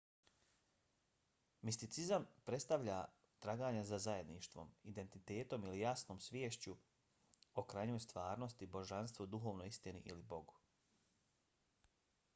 misticizam predstavlja traganje za zajedništvom identitetom ili jasnom sviješću o krajnjoj stvarnosti božanstvu duhovnoj istini ili bogu